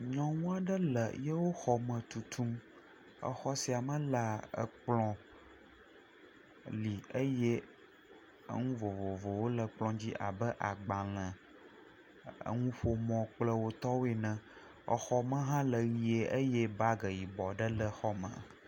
Nyɔnu aɖe le yewo xɔme tutum. Exɔ siame la, ekplɔ̃ li eye enu vovovowo le kplɔ̃dzi abe agbalẽ, enuƒomɔ̃ kple wotɔwo ene. Exɔme hã le ʋie eye bagi yibɔ ɖe le xɔme.